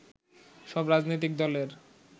সব রাজনৈতিক দলের